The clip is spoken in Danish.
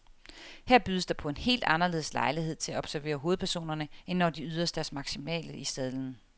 Her bydes der på en helt anderledes lejlighed til at observere hovedpersonerne, end når de yder deres maksimale i sadlen.